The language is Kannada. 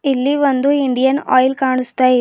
ಇಲ್ಲಿ ಒಂದು ಇಂಡಿಯನ್ ಆಯಿಲ್ ಕಾಣಿಸ್ತಾ ಇದೆ.